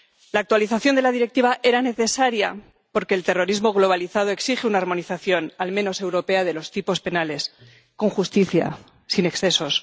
La actualización de la Directiva era necesaria porque el terrorismo globalizado exige una armonización, al menos europea, de los tipos penales, con justicia, sin excesos.